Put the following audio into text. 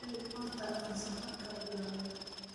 dereg horta aan safarrka bilawne